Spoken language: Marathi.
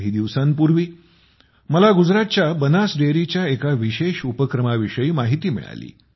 काही दिवसांपूर्वी मला गुजरातच्या बनास डेअरीच्या एका विशेष उपक्रमा विषयी माहिती मिळाली